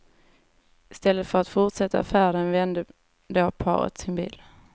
I stället för att fortsätta färden vände då paret sin bil.